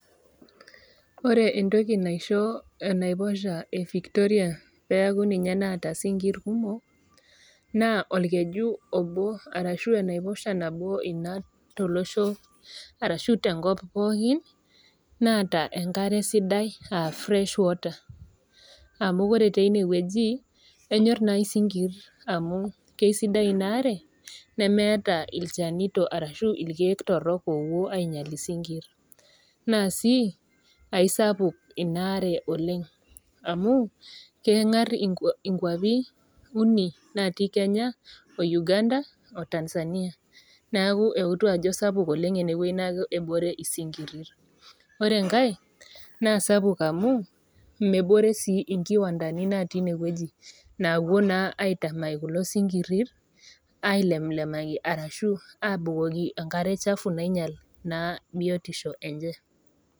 Ore entoki naiko enaiposha evictoria peaku ninye naata isinkir kumok naa orkeju obo arashu enaiposha nabo tenkop arashu tolosho pookin naata enakare sidai aa fresh water amu ore teine wueji , enyor nai isinkir amu keisidai inaare neemeeta ilchanito ashu irkiek torok opuo ainyial isinkir naa sii aesapuk inaare oleng amu kengar uni naji kenya , oUganda , oTanzania neeku euto ajo sapuk enewueji neeku kebore sinkir .Ore enkae naa sapuk amu mebore sii inkiwandani natii inewueji napuo naa aitamany kulo sinkiri ailemlemaki ashu abukoki enkare chafu nainyial naa biotisho enye.